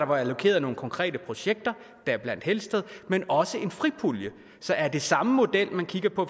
var allokeret nogle konkrete projekter deriblandt helsted men også var en fripulje så er det samme model man kigger på